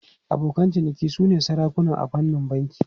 Abokan ciniki sune sarakuna a fannin banki.